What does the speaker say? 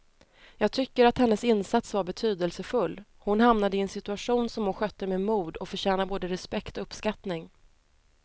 Jag tycker att hennes insats var betydelsefull, hon hamnade i en situation som hon skötte med mod och förtjänar både respekt och uppskattning.